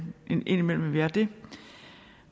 indimellem at vi er det